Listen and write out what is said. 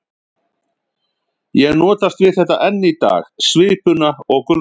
Ég notast við þetta enn í dag, svipuna og gulrótina.